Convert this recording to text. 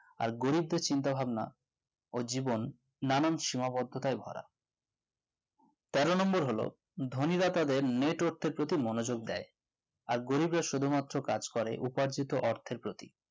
আর গরিবদের চিন্তাভাবনা ও জীবন নানান সীমাবদ্ধতাই ভরা তেরো number হলো ধোনিরা তাদের network প্রতি নজর দেয় আর গরিবরা শুধুমাত্র কাজ করে উপার্জিত অর্থের প্রতি